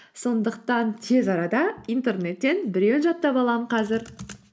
сондықтан тез арада интернеттен біреуін жаттап аламын қазір